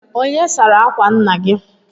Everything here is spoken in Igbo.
Onye sara akwa nna gị?